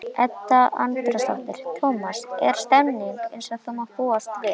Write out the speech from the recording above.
Edda Andrésdóttir: Tómas, er stemningin eins og búast má við?